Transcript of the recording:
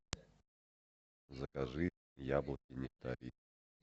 закажи яблоки нектарин